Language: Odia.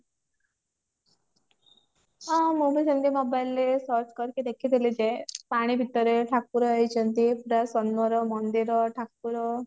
ହଁ ମୁଁ ବି ସେମଟି mobile ରେ search କରିକି ଦେଖିଦେଲି ଯ ପାଣି ଭିତରେ ଠାକୁର ହେଇଛନ୍ତି ସୁନ୍ଦର ମନ୍ଦିର ଠାକୁର